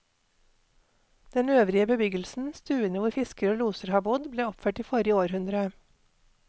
Den øvrige bebyggelsen, stuene hvor fiskere og loser har bodd, ble oppført i forrige århundre.